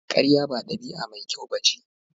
Karya ba dabi'a mai kyau ba ce.